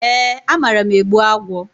E, amara m egbu agwọ.